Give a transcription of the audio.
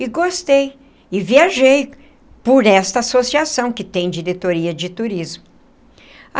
E gostei, e viajei por esta associação que tem diretoria de turismo.